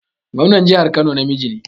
Gwamnan jihar Kano namiji ne